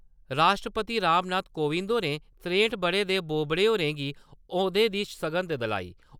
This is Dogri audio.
राश्ट्रपति रामनाथ कोविंद होरें त्रेह्ट ब'रें दे बोबड़े होरें गी औह्दे दी सगंध दोआई।